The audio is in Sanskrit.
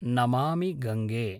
नमामि गङ्गे